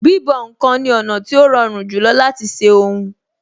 Bíbọ̀ ǹkan ni ọ̀nà tí ó rọrùn jùlọ láti ṣe ohun